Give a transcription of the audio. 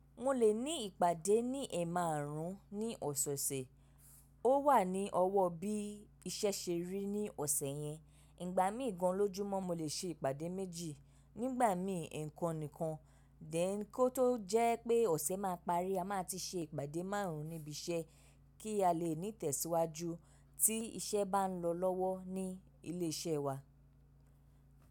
Mo lè ní ìpàdé ní ẹ̀ márùn ún ní ọ̀sẹ̀sẹ̀. Ó wà ní ọwọ́ bí iṣẹ́ ṣe rí ní ọ̀sẹ̀ yẹn. Ìgbà mí ìgan lójúmọ́ mo lè ṣe ìpàdé méjì, nígbà mí nǹkan nìkan. Dẹ̀ kó tó jẹ́ pé ọ̀sẹ̀ máa parí, a máa ti ṣe ìpàdé márùn ún níbi iṣẹ́ kí a lè ní tẹ̀síwájú tí iṣẹ́ bá ń lọ lọ́wọ́ ní ilé iṣẹ́ wa.